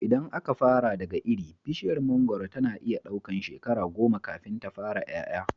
Idan aka fara daga iri, bishiyar mangoro tana iya ɗaukan shekara goma kafin ta fara ƴaƴa.